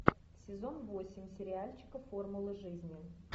сезон восемь сериальчика формула жизни